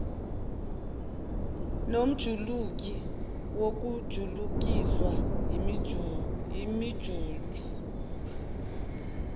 nomjuluko wokujulukiswa yiminjunju